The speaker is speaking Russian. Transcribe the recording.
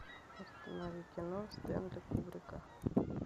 установи кино стэнли кубрика